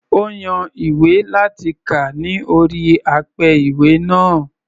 Ó yan ìwé láti kà ní orí apẹ-ìwé náà.